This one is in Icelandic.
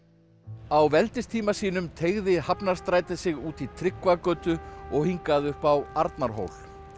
á veldistíma sínum teygði Hafnarstrætið sig út í Tryggvagötu og hingað upp á Arnarhól